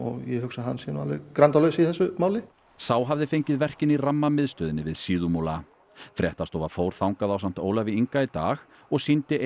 ég hugsa að hann sé grandalaus í þessu máli sá hafði fengið verkin í við Síðumúla fréttastofa fór þangað ásamt Ólafi Inga í dag og sýndi